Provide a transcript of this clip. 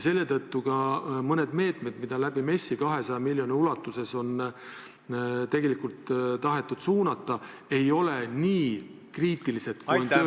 Seetõttu ka mõned meetmed, mida on MES-i kaudu 200 miljoni ulatuses tahetud suunata, ei ole nii kriitilised, kui on tööjõud.